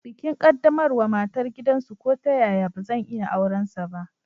Bikin qaddamarwa matar gidansu ko ta yaya bazan iya aurensa ba.